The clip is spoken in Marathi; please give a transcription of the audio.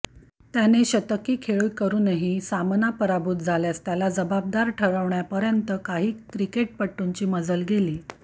त्याने शतकी खेळी करूनही सामना पराभूत झाल्यास त्याला जबाबदार ठरवण्यापर्यंत काही क्रिकेटपटूंची मजल गेली